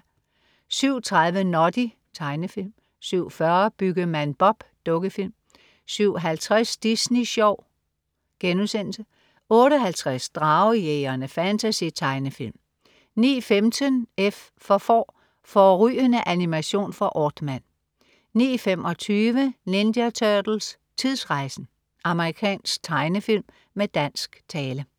07.30 Noddy. Tegnefilm 07.40 Byggemand Bob. Dukkefilm 07.50 Disney Sjov* 08.50 Dragejægerne. Fantasy-tegnefilm 09.15 F for får. Fårrygende animation fra Aardman 09.25 Ninja Turtles: Tidsrejsen! Amerikansk tegnefilm med dansk tale